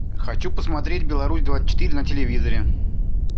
хочу посмотреть беларусь двадцать четыре на телевизоре